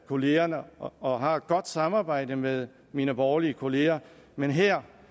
kollegaerne og har et godt samarbejde med mine borgerlige kollegaer men her